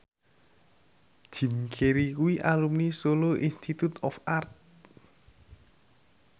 Jim Carey kuwi alumni Solo Institute of Art